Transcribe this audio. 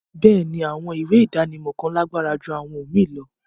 Béèni, àwọn ìwé idánimọ̀ kan làgbára jù àwọn omíì lọ